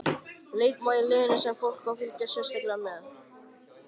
Leikmaður í liðinu sem fólk á að fylgjast sérstaklega með?